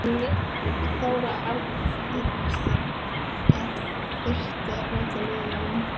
Þóra Arnórsdóttir: Finnst þér að þyrfti að breyta lögunum?